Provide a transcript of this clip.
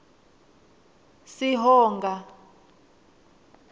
sihonga